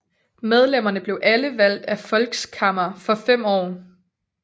Medlemmerne blev alle valgt af Volkskammer for fem år